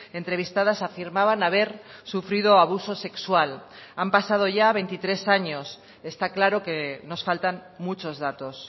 entrevistadas afirmaban haber sufrido abuso sexual han pasado ya veintitrés años está claro que nos faltan muchos datos